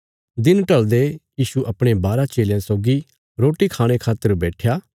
दिन ढलदे यीशु अपणे बारा चेलयां सौगी रोटी खाणे खातर बैट्ठया